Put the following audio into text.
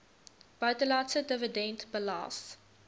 buitelandse dividend belas